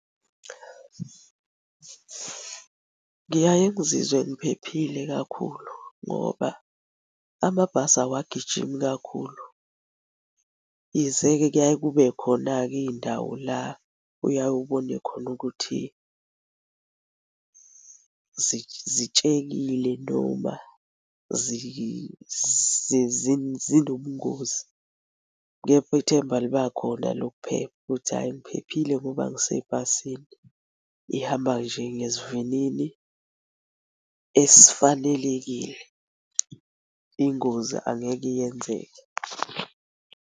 Ngiyaye ngizizwe ngiphephile kakhulu ngoba amabhasi awagijimi kakhulu. Yize-ke kuyaye kube khona-ke iy'ndawo la oyaye ubone khona ukuthi zitshekile noma zinobungozi, kepha ithemba libakhona lokuphepha ukuthi hhayi ngiphephile ngoba ngisebhasini. Ihamba nje ngesivinini esifanelekile ingozi angeke iyenzeke.